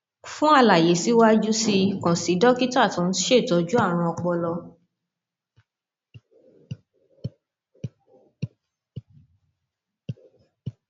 fún àlàyé síwájú sí i kàn sí dókítà tó ń ṣètọjú àrùn ọpọlọ